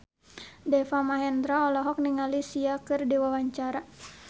Deva Mahendra olohok ningali Sia keur diwawancara